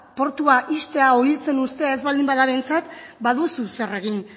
portua ixtea edo hiltzen uztea ez baldin bada behintzat baduzu zer egin